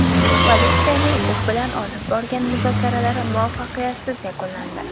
Politsiyaning u bilan olib borgan muzokaralari muvaffaqiyatsiz yakunlandi.